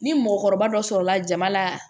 Ni mɔgɔkɔrɔba dɔ sɔrɔla jama la